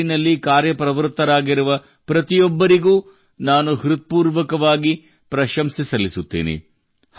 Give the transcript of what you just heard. ಈ ನಿಟ್ಟಿನಲ್ಲಿ ಕಾರ್ಯಪ್ರವೃತ್ತರಾಗಿರುವ ಪ್ರತಿಯೊಬ್ಬರಿಗೂ ನಾನು ಹೃತ್ಪೂರ್ವಕವಾಗಿ ಪ್ರಶಂಸಿಸುತ್ತೇನೆ